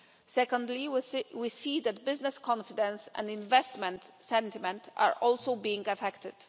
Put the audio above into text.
Secondly, we see that business confidence and investment sentiment are also being affected.